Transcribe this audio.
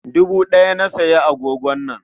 Dubu ɗaya na sayi agogon nan.